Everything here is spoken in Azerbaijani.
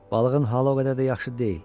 Balığın halı o qədər də yaxşı deyil.